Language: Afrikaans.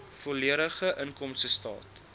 volledige inkomstestaat